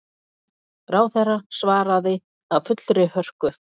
Ráðherra svaraði af fullri hörku.